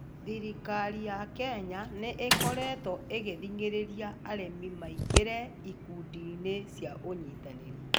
Thirikari ya Kenya nĩ ĩkoretwo ĩkĩthingĩrĩrĩa arĩmi maingĩre ĩkundi cia ũnyitanĩri